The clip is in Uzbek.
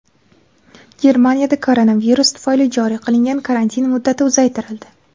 Germaniyada koronavirus tufayli joriy qilingan karantin muddati uzaytirildi.